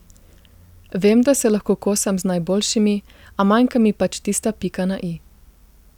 Vem, da se lahko kosam z najboljšimi, a manjka mi pač tista pika na i.